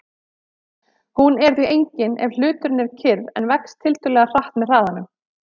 Hún er því engin ef hluturinn er kyrr en vex tiltölulega hratt með hraðanum.